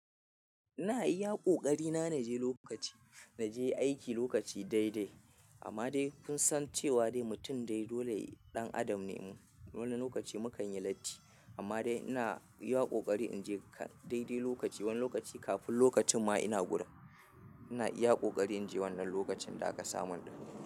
Ina iya ƙoƙari na na je lokaci, na je aiki lokaci daidai amma dai kun san cewa dai mutum dai dole ɗan adam ne. Wani lokaci mukan yi latti amma dai ina iya ƙoƙari in je daidai lokaci wani lokaci kafin lokacin ma ina gudan. Ina iya ƙoƙari in je wannan lokacin da aka samun ɗin.